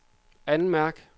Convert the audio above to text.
anmærk